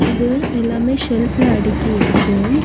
இது எல்லாமே ஷெல்ப்ல அடுக்கிருக்கு.